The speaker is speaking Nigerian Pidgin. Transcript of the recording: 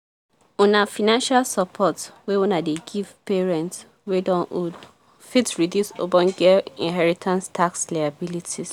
una financial support wey una dey give parents wey don old fit reduce ogboge inheritance tax liabilities.